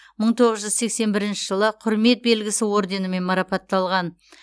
мың тоғыз жүз сексен бірінші жылы құрмет белгісі орденімен марапатталған